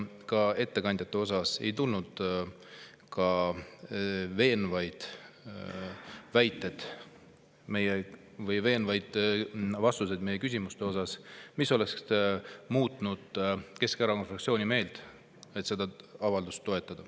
Ka ettekandjatelt ei tulnud veenvaid väiteid või veenvaid vastuseid meie küsimustele, mis oleks muutnud Keskerakonna fraktsiooni meelt, nii et me oleks seda avaldust toetanud.